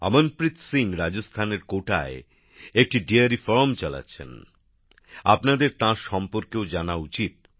অমনপ্রিত সিং রাজস্থানের কোটায় একটি ডেয়ারী ফার্ম চালাচ্ছেন আপনাদের তাঁর সম্পর্কেও জানা উচিত